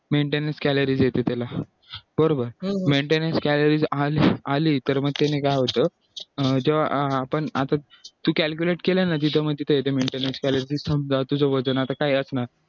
maintenance calories येते त्याला बरोबर maintenance calories आणि आली तर मग त्याने काय होतं तेव्हा आपण असंच तू calculate केलं ना तिथे मग तिथे येते maintenance calories वजन आता काय असणार